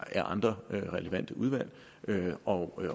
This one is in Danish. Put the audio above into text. af andre relevante udvalg og